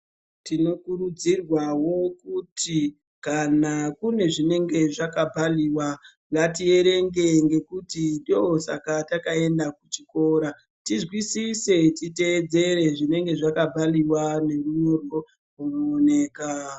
Tinokurudzirwawo kuti kana kune zvinenge zvakapaliwa ngatierenge ngekuti ndosaka takaenda kuchikora tizwisise uye titeedzere zvinenge zvakapaliwa nerunyorwo runooneka.